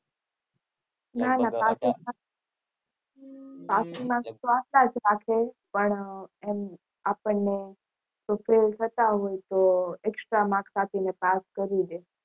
passing mark તો આટલા જ રાખશે પણ આપણને કોઈ ફેલ થતા હોય તો extra mark આપીને પાસ કરી દે.